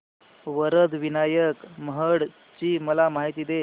वरद विनायक महड ची मला माहिती दे